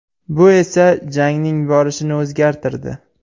Bu esa jangning borishini o‘zgartirdi.